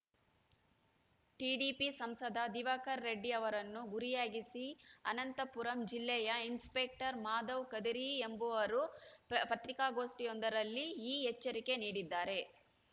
TDP ಸಂಸದ ದಿವಾಕರ್‌ ರೆಡ್ಡಿ ಅವರನ್ನು ಗುರಿಯಾಗಿಸಿ ಅನಂತಪುರಮು ಜಿಲ್ಲೆಯ ಇನ್‌ಸ್ಪೆಕ್ಟರ್‌ ಮಾಧವ್‌ ಕದಿರಿ ಎಂಬುವರು ಪತ್ರಿಕಾಗೋಷ್ಟಿಯೊಂದರಲ್ಲಿ ಈ ಎಚ್ಚರಿಕೆ ನೀಡಿದ್ದಾರೆ